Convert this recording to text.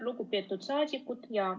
Lugupeetud saadikud!